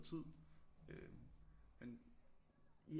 Tid øh men i